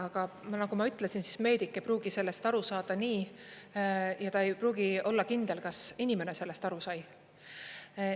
Aga nagu ma ütlesin, meedik ei pruugi sellest aru saada nii ja ta ei pruugi olla kindel, kas inimene sellest aru sai.